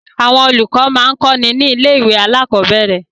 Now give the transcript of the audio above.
Àwọn olùkọ́ máa ń kọ́ni ní ilé-ìwé alákọ̀ọ́bẹ̀rẹ̀.